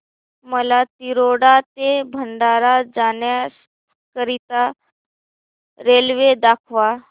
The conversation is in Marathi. मला तिरोडा ते भंडारा जाण्या करीता रेल्वे दाखवा